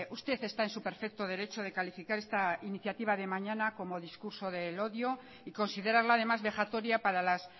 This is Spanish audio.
usted está en su perfecto derecho de calificar esta iniciativa de mañana como discurso del odio y considerarla además vejatoria para las